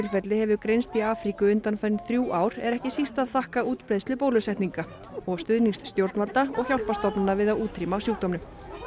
hefur greinst í Afríku undanfarin þrjú ár er ekki síst að þakka útbreiðslu bólusetninga og stuðnings stjórnvalda og hjálparstofnana við að útrýma sjúkdómnum